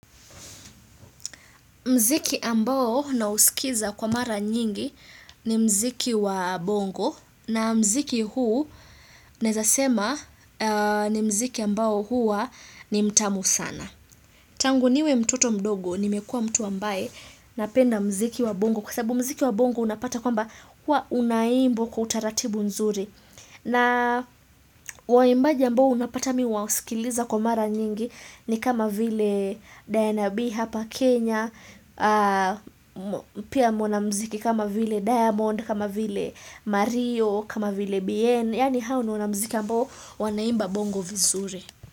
Mziki ambao nausikiza kwa mara nyingi ni mziki wa bongo na mziki huu naeza sema ni mziki ambao hua ni mtamu sana. Tangu niwe mtoto mdogo nimekua mtu ambaye napenda mziki wa bongo kwa sababu mziki wa bongo unapata kwamba hua unaimbwa kwa utaratibu nzuri. Na waimbaji ambao unapata mi huwasikiliza kwa mara nyingi ni kama vile Diana B hapa Kenya, pia mwanamziki kama vile Diamond, kama vile Mario, kama vile Bien, yani hao ni wana mziki ambao wanaimba bongo vizuri.